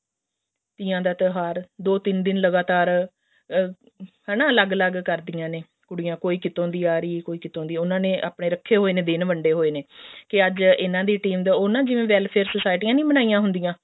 ਤੀਆਂ ਦਾ ਤਿਉਹਾਰ ਦੋ ਤਿੰਨ ਦਿਨ ਲਗਾਤਾਰ ਅਮ ਹਨਾ ਅਲੱਗ ਅਲੱਗ ਕਰਦੀਆਂ ਨੇ ਕੁੜੀਆਂ ਕੋਈ ਕਿਤੋਂ ਆ ਰਹੀ ਹੈ ਕੋਈ ਕਿਤੋਂ ਦੀ ਉਹਨਾ ਨੇ ਆਪਣੇ ਰੱਖੇ ਹੋਏ ਨੇ ਦਿਨ ਵੰਡੇ ਹੋਏ ਨੇ ਕੇ ਅੱਜ ਇਹਨਾ ਦੀ team ਦਾ ਉਹ ਨਾ ਜਿਵੇਂ welfare society ਨੀ ਬਣਾਈਆਂ ਹੁੰਦੀਆਂ